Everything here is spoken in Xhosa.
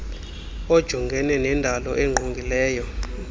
ojongene nendalo engqongileyo